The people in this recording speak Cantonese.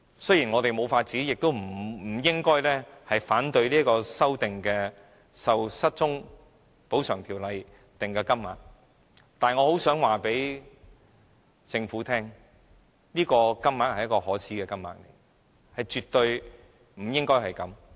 雖然我們沒有辦法，也不應該反對修訂《條例》所訂定的金額，但我很希望告訴政府，這是一個可耻的金額，絕對不應該是這樣的低。